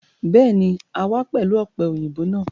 Béèni, a wá pẹ̀lú ọ̀pẹ-òyìnbó náà